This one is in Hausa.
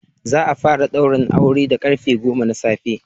Za a fara ɗaurin auren da karfe goma na safe.